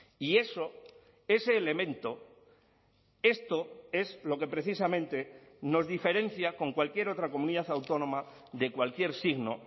y eso ese elemento esto es lo que precisamente nos diferencia con cualquier otra comunidad autónoma de cualquier signo